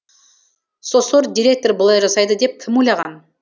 сосор директор бұлай жасайды деп кім ойлаған